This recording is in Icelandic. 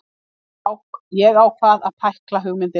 Ég ákvað að pækla hugmyndina.